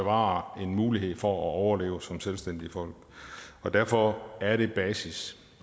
bevare en mulighed for at overleve som selvstændige folk derfor er det basis